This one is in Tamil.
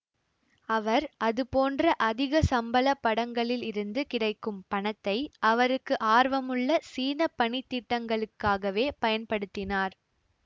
அவர் அது போன்ற அதிக சம்பள படங்களிலிருந்து கிடைக்கும் பணத்தை அவருக்கு ஆர்வமுள்ள சீன பணித்திட்டங்களுக்காகவே பயன்படுத்தினார்